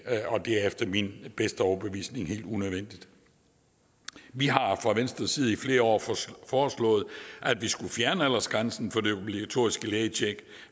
og det er efter min bedste overbevisning helt unødvendigt vi har fra venstres side i flere år foreslået at vi skulle fjerne aldersgrænsen for det obligatoriske lægetjek